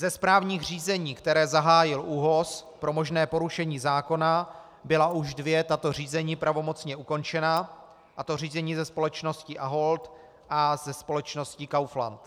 Ze správních řízení, která zahájil ÚOHZ pro možné porušení zákona, byla už dvě tato řízení pravomocně ukončena, a to řízení se společností Ahold a se společností Kaufland.